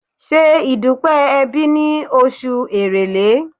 Ṣe ìdúpé ẹbí ní oṣù èrèlé!